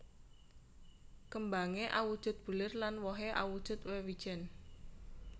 Kêmbangé awujud bulir lan wohé awujud wêwijèn